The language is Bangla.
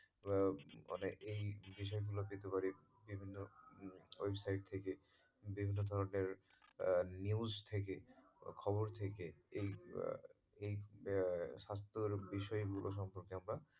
আহ মানে এই বিষয় গুলি কীভাবে বিভিন্ন রকম ওই side থেকে বিভিন্ন ধরনের news থেকে খবর থেকে এই, এই আহ স্বস্থের বিষয়ে সম্পর্কে আমরা,